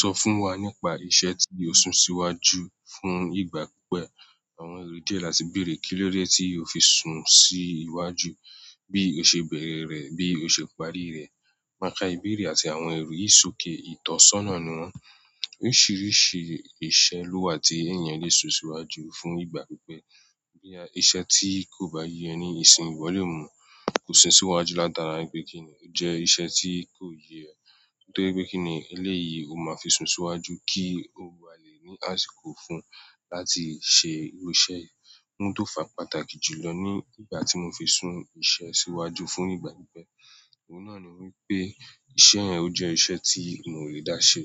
Sọ fún wa nípa iṣẹ́ tí o sún síwájú fún ìgbà pípẹ́. Àwọn èrò díẹ̀ láti bèrè. Kílódé tí o fi sún sí iwájú? Bí o ṣe bẹ̀rẹ̀ rẹ̀, bí o ṣe parí rẹ̀. Maka ìbéèrè àti àwọn èrò ìsòké ìtọ́sọ́nà niwon. Oríṣiiríṣii iṣẹ́ ló wà tí èèyàn le sún síwájú fún ìgbà pípẹ́. Boya iṣẹ́ tí kò bá yé ẹ ní ìsìn wọn le mú, kò sún síwájú látara pé kíni ó jẹ́ iṣẹ́ tí kò yé ẹ. Nítorí pe kini o, eleyi o maa fi sun síwájú ki o ba le ni àsìkò fún láti se iru iseyi. Ohun tó fà pàtàkì jùlọ ní ìgbà tí mo fi sún iṣẹ́ síwájú fún ìgbà pípẹ́, ohun náà ni wípé iṣẹ́ yẹn ó jẹ́ iṣẹ́ tí mi ò lè dá ṣe,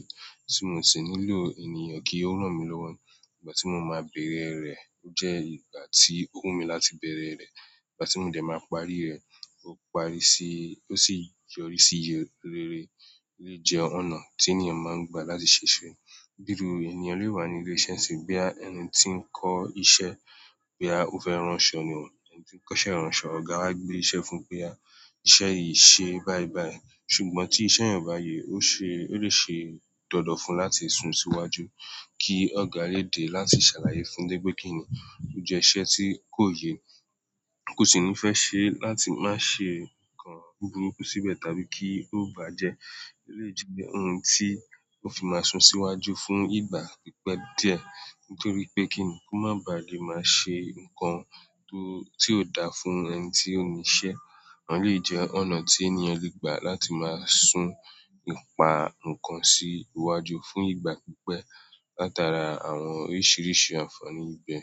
tí mò ṣi nílò ènìyàn kí ó rán mi lọ́wọ́ ní ìgbà tí mo máa bẹ̀rẹ̀ rẹ̀. Ó jẹ́ ìgbà tí ó wù mí láti bẹ̀rẹ̀ rẹ̀. Ìgbà tí mò dẹ̀ máa parí rẹ̀, ó parí síí, ó sì yọrí sí iye rere. Eléyi jẹ́ ọ̀nà tí ènìyàn máa ń gbà láti ṣe iṣe. Iru ènìyàn le wa ni ile iṣẹ́ nsinyi, boya ẹni ti n ko iṣẹ́, boya o fe ranso ni o. Ẹni tí ń kọ́ṣẹ́ ránṣọ, ọ̀gá wá gbé iṣẹ́ fún pé o ya, iṣẹ́ yìí ṣe báyìí báyìí. Ṣùgbọ́n tí iṣẹ́ yẹn o bá ye ó ṣe, ó lè ṣe dandan fún láti sún síwájú kí ọ̀gá lè dé láti ṣàlàyé fún torí pé kíni. Ó jẹ iṣẹ́ tí kò yé ẹ, kò sì ní fẹ́ ṣe láti má ṣe nǹkan buburúkú síbẹ̀ tàbí kí ó bàjẹ́. Eléyi jẹ́ ohun tí o fi máa sún síwájú fún ìgbà pípẹ́ díẹ̀. Nítorí pé kíni kó má bà lé máa ṣe nǹkan tó, tí ò da fún ẹni tí ó níṣẹ́. Àwọn elèyi jẹ́ ọ̀nà tí ènìyàn lè gbà láti máa sún nípa, ǹnkan sí iwájú fún ìgbà pípẹ́ látara àwọn oríṣiiríṣii ànfàní ibibẹ̀.